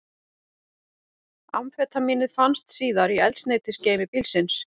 Amfetamínið fannst síðar í eldsneytisgeymi bílsins